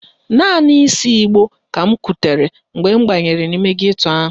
Naanị ísí ìgbó ka m kutere mgbe m banyere n'ime geto ahụ.